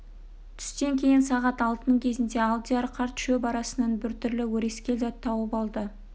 түстен кейін сағат алтының кезінде алдияр қарт шөп арасынан бір түрлі өрескел зат тауып алды